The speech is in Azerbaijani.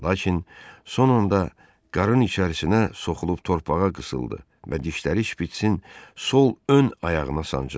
Lakin son anda qarının içərisinə soxulub torpağa qısıldı və dişləri şpitsin sol ön ayağına sancıldı.